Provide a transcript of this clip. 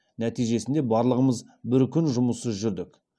нәтижесінде барлығымыз бір күн жұмыссыз жүрдік